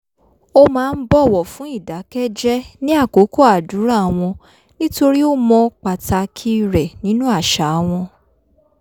ó máa ń bọ̀wọ̀ fún ìdákẹ́jẹ́ ní àkókò àdúrà wọn torí ó mọ̀ pàtàkì rẹ̀ nínú àṣà wọn